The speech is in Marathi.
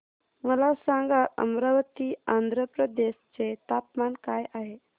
मला सांगा अमरावती आंध्र प्रदेश चे तापमान काय आहे